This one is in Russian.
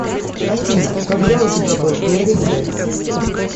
афина когда у тебя был первый секс